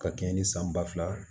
Ka kɛɲɛ ni san ba fila